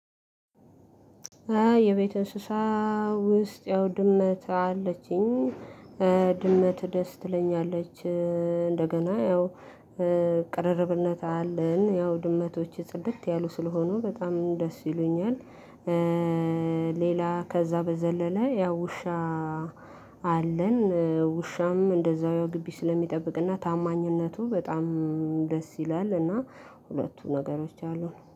የቤት እንስሳ ውስጥ ያው ድመት አለችኝ። ድመት ደስ ትለኛለች እንደገና ያው ቀርርብነት አለን ያው ድመቶች ጽድት ያሉ ስለሆኑ በጣም ደስ ይሉኛል። ሌላ ከዛ በዘለለ ያው ውሻ። አለን ውሻም እንደዛው ያው ግቢ ስለሚጠብቅና ታማኝነቱ በጣም ደስ ይላል እና ሁለቱ ነገሮች አሉን